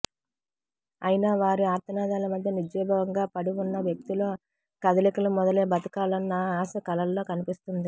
అయినవారి ఆర్తనాదాల మధ్య నిర్జీవంగా పడి ఉన్న వ్యక్తిలో కదలికలు మొదలై బ్రతకాలన్న ఆశ కళ్లలో కనిపిస్తుంది